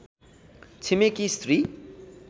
छिमेकी स्त्री